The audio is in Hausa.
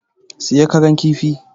Siya Karan kifi!